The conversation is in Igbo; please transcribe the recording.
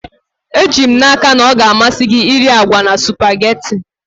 Eji m n'aka na ọ ga-amasị gị iri agwa na spugeetí